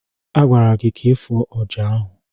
A gwara gị ka ị fụọ ọjà ahụ!